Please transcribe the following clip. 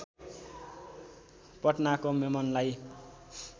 पटनाको मेमनलाई